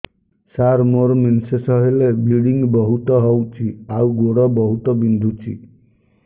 ସାର ମୋର ମେନ୍ସେସ ହେଲେ ବ୍ଲିଡ଼ିଙ୍ଗ ବହୁତ ହଉଚି ଆଉ ଗୋଡ ବହୁତ ବିନ୍ଧୁଚି